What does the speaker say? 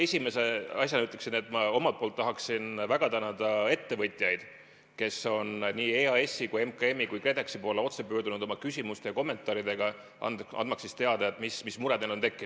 Esimese asjana ütleksin, et ma omalt poolt tahan väga tänada ettevõtjaid, kes on nii EAS-i, MKM-i kui ka KredExi poole otse pöördunud oma küsimuste ja kommentaaridega, andmaks teada, mis mure neil on tekkinud.